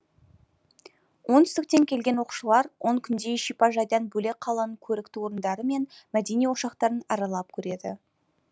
оңтүстіктен келген оқушылар он күнде шипажайдан бөлек қаланың көрікті орындары мен мәдени ошақтарын аралап көреді